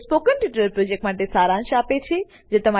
તે spoken tutorial પ્રોજેક્ટનો સારાંશ આપે છે